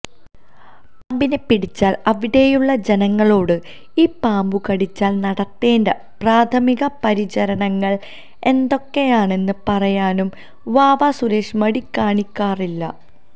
പാമ്പിനെ പിടിച്ചാൽ അവിടെയുള്ള ജനങ്ങളോട് ഈ പാമ്പുകടിച്ചാൽ നടത്തേണ്ട പ്രാഥമിക പരിചരണങ്ങൾ എന്തൊക്കെയാണെന്ന് പറയാനും വാവാ സുരേഷ് മടികാണിക്കാറില്ല